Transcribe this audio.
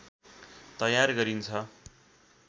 तयार गरिन्छ